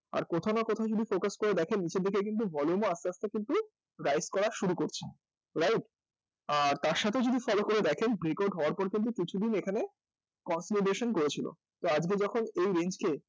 আর কোথাও না কোথাও যদি focus করে দেখেন নীচের দিকে কিন্তু volume ও আসতে আসতে কিন্তু করা শুরু করছে right? তার সাথে যদি follow করে দেখেন grecode হওয়ার পরে কিন্তু কিছুদিন এখানে concludation করেছিল তো আজকে যখন এই range কে